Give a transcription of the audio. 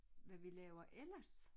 Hvad vi laver ellers